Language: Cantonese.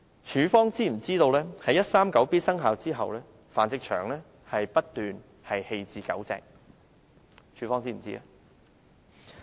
署方是否知悉在第 139B 章生效後，繁殖場不斷棄置狗隻？